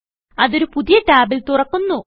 അത് ഒരു പുതിയ ടാബിൽ തുറക്കുന്നു